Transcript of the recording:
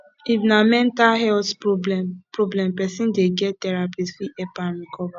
if na mental health problem problem person dey get therapist fit help am recover